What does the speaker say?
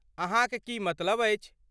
अहाँक की मतलब अछि?